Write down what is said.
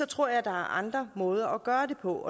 tror jeg der er andre måder at gøre det på